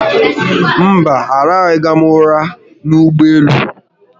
Mba, arahụghị̀m ụra n'ụgbọelu